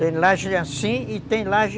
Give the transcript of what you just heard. Tem laje assim e tem laje...